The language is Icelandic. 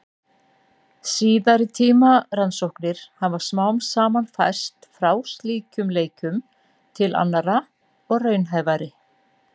Síðari tíma rannsóknir hafa smám saman færst frá slíkum leikjum til annarra og raunhæfari.